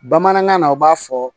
Bamanankan na u b'a fɔ